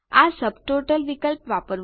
આ સબટોટલ વિકલ્પ વાપરો